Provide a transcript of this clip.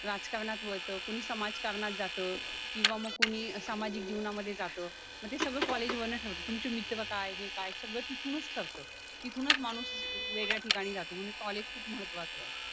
राजकारणात वळतं कोणी समाजकारणात जातं किंवा मग कोणी सामाजिक जीवनामध्ये जातं मग ते सगळं कॉलेजवर न ठरत तुमचे मित्र काय हे काय सगळं तिथूनच ठरतं तिथूनच माणूस वेगळ्या ठिकाणी जातो म्हणून कॉलेज खूप महत्त्वाचे आहे